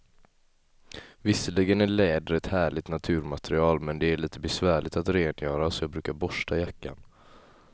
Visserligen är läder ett härligt naturmaterial, men det är lite besvärligt att rengöra, så jag brukar borsta jackan.